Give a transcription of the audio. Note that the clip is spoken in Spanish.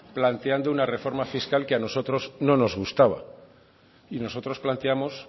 planteando una reforma fiscal que a nosotros no nos gustaba y nosotros planteamos